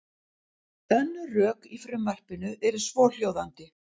Önnur rök í frumvarpinu eru svohljóðandi.